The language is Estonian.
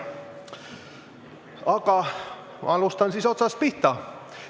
Aga hakkan otsast pihta.